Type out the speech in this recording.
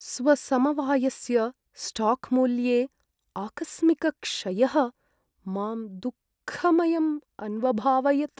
स्वसमवायस्य स्टाक्मूल्ये आकस्मिकक्षयः मां दुःखमयम् अन्वभावयत्।